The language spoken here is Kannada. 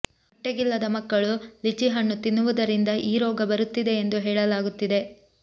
ಹೊಟ್ಟೆಗಿಲ್ಲದ ಮಕ್ಕಳು ಲಿಚಿ ಹಣ್ಣು ತಿನ್ನುವುದರಿಂದ ಈ ರೋಗ ಬರುತ್ತಿದೆ ಎಂದೂ ಹೇಳಲಾಗುತ್ತಿದೆ